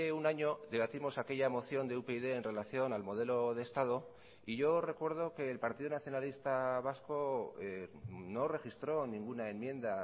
un año debatimos aquella moción de upyd en relación al modelo de estado y yo recuerdo que el partido nacionalista vasco no registró ninguna enmienda